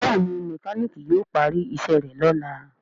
Béèni mekaniki yíò pari iṣé rẹ lọla.